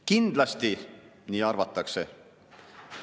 Kindlasti nii arvatakse.